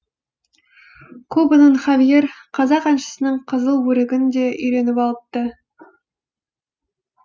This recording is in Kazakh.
кубаның хавьер қазақ әншісінің қызыл өрігін де үйреніп алыпты